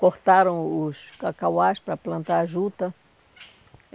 cortaram os cacauás para plantar a juta.